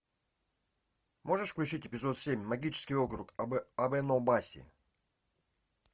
можешь включить эпизод семь магический округ абэнобаси